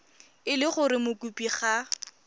e le gore mokopi ga